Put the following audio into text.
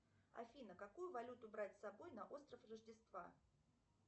афина какую валюту брать с собой на остров рождества